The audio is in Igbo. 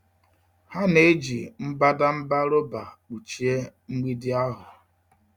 Ha na-eji mbadamba rọba kpuchie mgbidi ahụ.